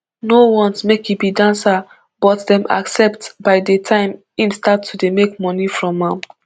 no want make e be dancer but dem accept by di time im start to dey make money from am